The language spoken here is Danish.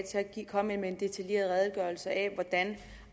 komme med en detaljeret redegørelse af hvordan